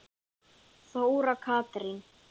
Þóra Katrín.